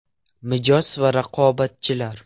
Mijoz va raqobatchilar.